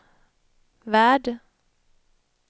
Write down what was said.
värld